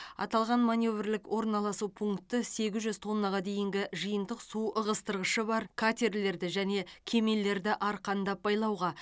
аталған маневрлік орналасу пункті сегіз жүз тоннаға дейінгі жиынтық су ығыстырғышы бар катерлерді және кемелерді арқандап байлауға